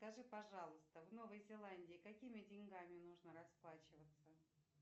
скажи пожалуйста в новой зеландии какими деньгами нужно расплачиваться